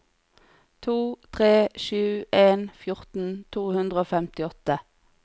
to tre sju en fjorten to hundre og femtiåtte